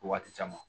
Waati caman